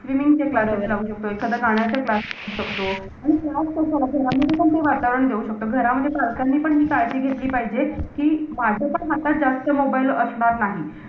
Swimming चे classes लावू शकतो. एखाद्या गाण्याचा class लावू शकतो. आणि class कशाला? घरामध्ये पण ते वातावरण देऊ शकतो. घरामध्ये पण घरच्यांनी पण ती काळजी घेतली पाहिजे. कि माझ्यापण हातात जास्त mobile असणार नाही.